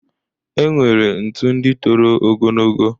E nwere ntu ndị toro ogonogo.